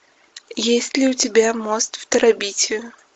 есть ли у тебя мост в терабитию